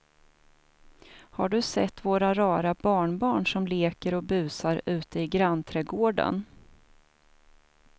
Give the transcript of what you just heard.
Har du sett våra rara barnbarn som leker och busar ute i grannträdgården!